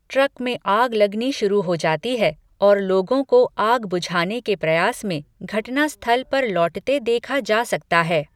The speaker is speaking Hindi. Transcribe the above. ट्रक में आग लगनी शुरू हो जाती है और लोगों को आग बुझाने के प्रयास में घटनास्थल पर लौटते देखा जा सकता है।